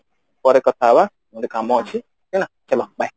ପରେ କଥା ହେବ ମୋର କାମ ଅଛି ଚଲୋ bye